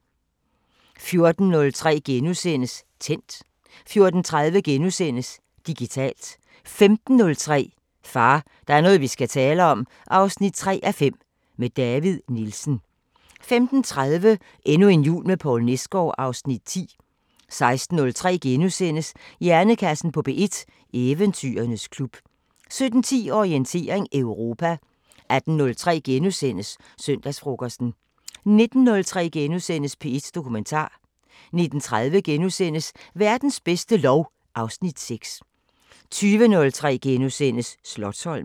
14:03: Tændt * 14:30: Digitalt * 15:03: Far, der er noget vi skal tale om 3:5 – med David Nielsen 15:30: Endnu en jul med Poul Nesgaard (Afs. 9) 16:03: Hjernekassen på P1: Eventyrernes klub * 17:10: Orientering Europa 18:03: Søndagsfrokosten * 19:03: P1 Dokumentar * 19:30: Verdens bedste lov (Afs. 6)* 20:03: Slotsholmen *